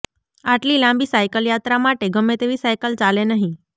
આટલી લાંબી સાઈકલયાત્રા માટે ગમે તેવી સાઈકલ ચાલે નહીં